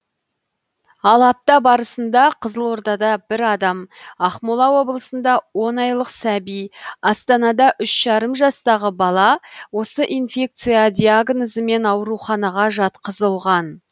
ал апта барысында қызылордада бір адам ақмола облысында он айлық сәби астанада үш жарым жастағы бала осы инфекция диагнозымен ауруханаға жатқызылған